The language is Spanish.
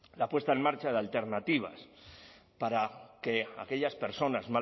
la puesta en marcha de alternativas para que aquellas personas